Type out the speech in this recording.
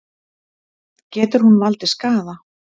Getur hún valdið skaða?